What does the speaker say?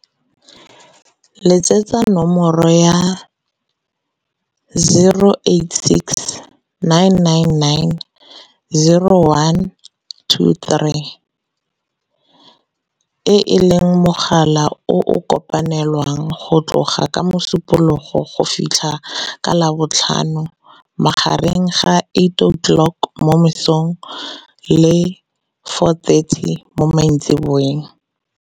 Letsetsa nomoro ya, 086 999 0123, e e leng mogala o o kopanelwang go tloga ka Mosupologo go fitlha ka Labotlhano magareng ga 8h00 mo mosong le 4h30 mo maitsiboeng.